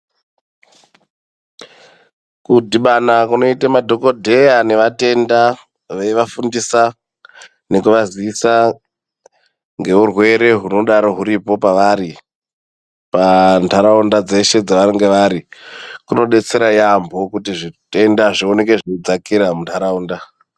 Kudhibana kunoite madhokodheya nevatenda veivafundisa nekuvazivisa ngeurwere hunodaro huripo pavari pa ndaraunda dzeshe dzavanenge vari, kunobetsera yambo kuti zvitenda zvioneke zveidzakira mundaraunda.